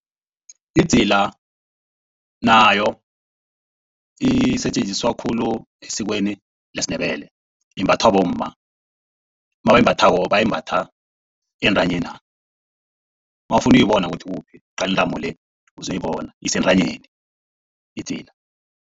Idzila nayo isetjenziswa khulu esikweni lesiNdebele. Imbathwa bomma, nabayimbathako bayimbatha entanyena. Nawufuna ukuyibona ukuthi ikuphi uqale intamo le uzoyibona ukuthi ikuphi esentanyena idzila.